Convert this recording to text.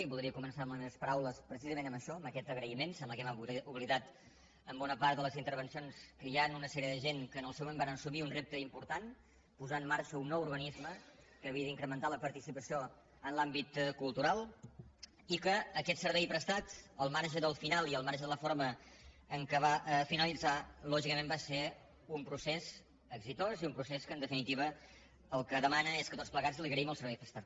i voldria començar les meves paraules precisament amb això amb aquest agraïment sembla que hem oblidat en bo·na part de les intervencions que hi ha una sèrie de gent que en el seu moment varen assumir un repte im·portant posant en marxa un nou organisme que havia d’incrementar la participació en l’àmbit cultural i que aquests serveis prestats al marge del final i al marge de la forma en què va finalitzar lògicament va ser un procés reeixit i un procés que en definitiva el que de·mana és que tots plegats els agraïm els serveis pres·tats